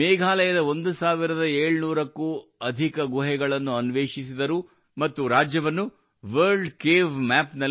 ಮೇಘಾಲಯದ 1700 ಕ್ಕೂ ಅಧಿಕ ಗುಹೆಗಳನ್ನು ಅನ್ವೇಷಿಸಿದರು ಮತ್ತು ರಾಜ್ಯವನ್ನು ವರ್ಲ್ಡ್ ಕೇವ್ ಮ್ಯಾಪ್ ನಲ್ಲಿ ತಂದುಬಿಟ್ಟರು